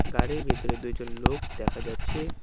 গাড়ির ভেতরে দুইজন লোক দেখা যাচ্ছে।